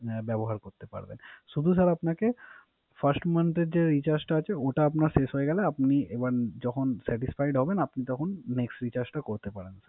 ব্যাবহার করতে পারবেন। শুধু স্যার আপনাকে First month এর যে Recharge টা আছে ওটা আপনার শেষ হয়ে গেলে আপনি যখন Satisfied হবেন তখন Next Recharge টা করতে পারেন ।